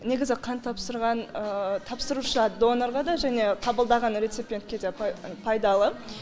негізі қан тапсырған тапсырушы донорға да және қабылдаған реципиентке де пайдалы